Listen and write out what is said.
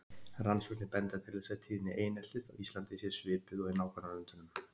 Rannsóknir benda til þess að tíðni eineltis á Íslandi sé svipuð og í nágrannalöndunum.